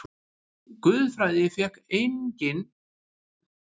Guðfræði fékk einnig vænan skammt af efasemdum hans.